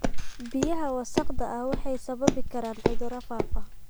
Biyaha wasakhda ah waxay sababi karaan cudurrada faafa.